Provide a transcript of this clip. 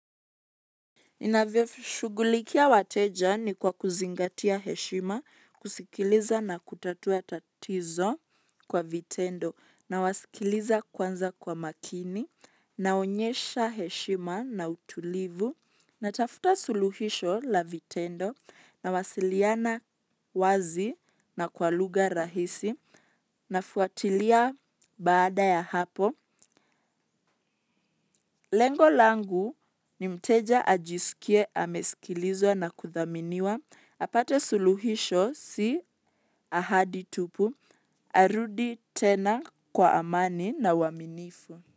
Inavyo shugulikia wateja ni kwa kuzingatia heshima, kusikiliza na kutatua tatizo kwa vitendo nawasikiliza kwanza kwa makini naonyesha heshima na utulivu natafta suluhisho la vitendo nawasiliana wazi na kwa lugha rahisi nafuatilia baada ya hapo lengo langu ni mteja ajisikie amesikilizwa na kuthaminiwa, apata suluhisho si ahadi tupu, arudi tena kwa amani na uaminifu.